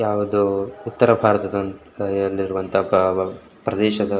ಯಾವುದೊ ಉತ್ತರ ಭಾರತ ವೊಂದ್ ಕೈಯಲ್ಲಿರುವಂತಹ ಪ್ರದೇಶದ --